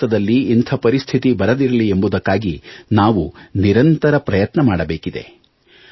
ಭಾರತದಲ್ಲಿ ಇಂಥ ಪರಿಸ್ಥಿತಿ ಬರದಿರಲಿ ಎಂಬುದಕ್ಕಾಗಿ ನಾವು ನಿರಂತರ ಪ್ರಯತ್ನ ಮಾಡಬೇಕಿದೆ